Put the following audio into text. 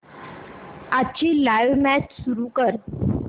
आजची live match सुरू कर